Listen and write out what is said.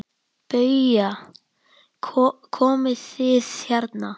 BAUJA: Komið þið hérna!